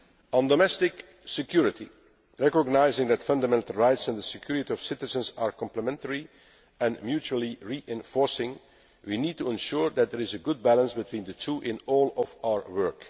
partner. On domestic security, recognising that fundamental rights and the security of citizens are complementary and mutually reinforcing, we need to ensure that there is a good balance between the two in all of our